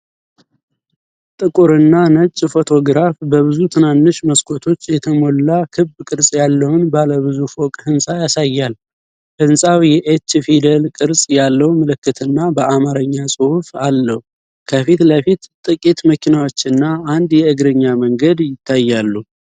ጥቁርና ነጭ ፎቶግራፍ በብዙ ትናንሽ መስኮቶች የተሞላ ክብ ቅርጽ ያለውን ባለ ብዙ ፎቅ ሕንፃ ያሳያል። ሕንፃው የኤች ፊደል ቅርጽ ያለው ምልክትና በአማርኛ ጽሑፍ አለው። ከፊት ለፊት ጥቂት መኪናዎችና አንድ የእግረኛ መንገድ ይታያሉ።